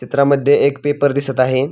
चित्रामध्ये एक पेपर दिसत आहे.